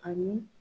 Ani